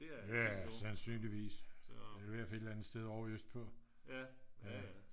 ja sandsynligvis det er i hvert fald et eller andet sted ovre øst på